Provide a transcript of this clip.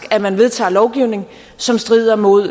at man vedtager lovgivning som strider mod